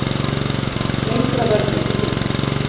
Lengra verður ekki gengið